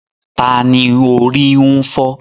Ta ni orí ń fọ́?